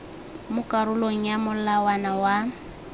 mo karolong ya molawana wa